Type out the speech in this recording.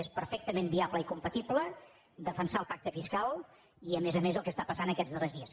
és perfectament viable i com·patible defensar el pacte fiscal i a més a més el que està passant aquests darrers dies